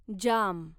जाम